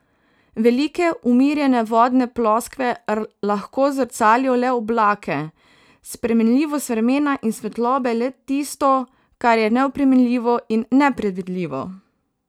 Velike umirjene vodne ploskve lahko zrcalijo le oblake, spremenljivost vremena in svetlobe, le tisto, kar je neoprijemljivo in nepredvidljivo.